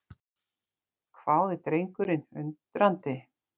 hváði drengurinn undrandi.